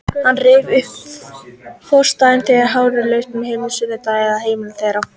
Hann rifjaði upp frostdaga, þegar hárið fraus á leiðinni frá sundlauginni að heimili þeirra.